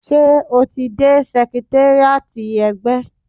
Ṣé o ti dé sẹkritéríátì ẹgbẹ́?